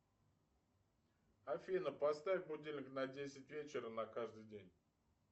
афина поставь будильник на десять вечера на каждый день